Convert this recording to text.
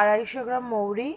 আড়াইশো গ্রাম মহোরী,